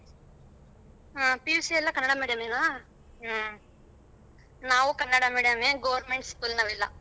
ಹ PUC ಎಲ್ಲ Kannada medium ನಾ. ನಾವು ಕನ್ನಡ medium ನೇ government school ನಾವೆಲ್ಲ.